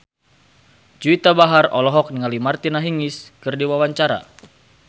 Juwita Bahar olohok ningali Martina Hingis keur diwawancara